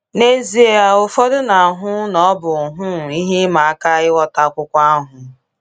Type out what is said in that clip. N’ezie, ụfọdụ na-ahụ na ọ bụ um ihe ịma aka ịghọta akwụkwọ ahụ.